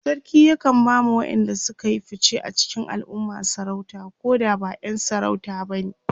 sarki yakan ba ma waƴanda Suka Yi fice a cikin alumma sarauta Koda ba ƴan sarauta bane